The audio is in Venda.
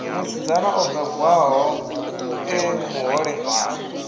musidzana o bebwaho e muholefhali